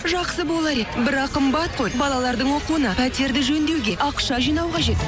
жақсы болар еді бірақ қымбат қой балалардың оқуына пәтерді жөндеуге ақша жинау қажет